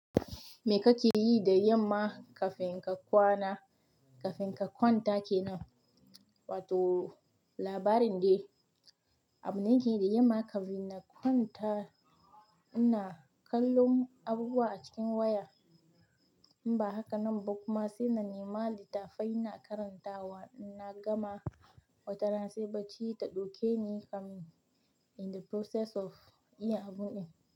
Me kake yi da yamma kafin ka kwana, kafin ka kwanta kenan? To, labarin dai abun nake yi da yamma, kafin na kwanta ina kallon abubuwa a cikin wayan. Ba haka nan ba kuma sai na nema littafai na karantawa, na gama watarance bacci ta ɗauke ni kam in the process of yin abun nan.